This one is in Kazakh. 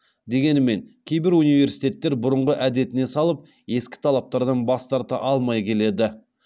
дегенімен кейбір университеттер бұрынғы әдетіне салып ескі талаптардан бас тарта алмай келеді